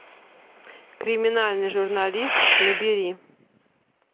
криминальный журналист набери